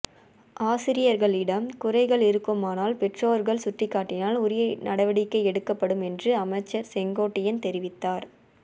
ஆசிரியர்களிடம் குறைகள் இருக்குமானால் பெற்றோர்கள் சுட்டிக்காட்டினால் உரிய நடவடிக்கை எடுக்கப்படும் என்றும் அமைச்சர் செங்கோட்டையன் தெரிவித்தார்